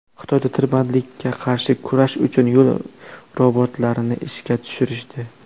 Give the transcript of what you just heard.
Xitoyda tirbandlikka qarshi kurash uchun yo‘l robotlarini ishga tushirishdi .